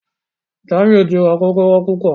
Jamiu tí rá Kókóró púpọ.